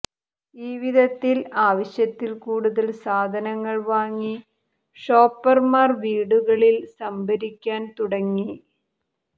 ഈ വിധത്തിൽ ആവശ്യത്തിൽ കൂടുതൽ സാധനങ്ങൾ വാങ്ങി ഷോപ്പർമാർ വീടുകളിൽ സംഭരിക്കാൻ തുടങ്